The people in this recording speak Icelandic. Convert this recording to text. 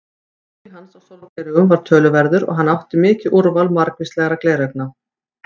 Áhugi hans á sólgleraugum var töluverður og hann átti mikið úrval margvíslegra gleraugna.